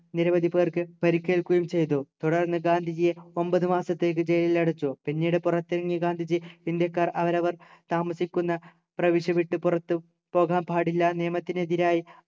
നിരവധി പേർക് പരിക്കേൽക്കുകയും ചെയ്തു തുടർന്ന് ഗാന്ധിജിയെ ഒമ്പതു മാസത്തേക്ക് ജയിലിലടച്ചു പിന്നീട് പുറത്തിറങ്ങിയ ഗാന്ധിജി ഇന്ത്യക്കാർ അവരവർ താമസിക്കുന്ന പ്രവിശ്യ വിട്ടു പുറത്തു പോകാൻ പാടില്ല നിയമത്തിനെതിരായി